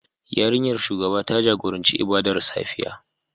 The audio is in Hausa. Yarinyar shugaba ta jagoranci ibadar safiya